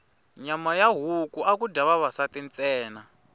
nyama ya huku aku dya vavasati ntsena